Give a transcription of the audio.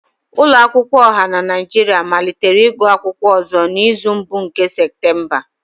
Ụlọ akwụkwọ ọha na Nigeria malitere igụụ akwụkwọ ọzọ n'izu mbụ nke Septemba